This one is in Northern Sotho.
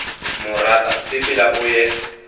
mo rata sepela o ye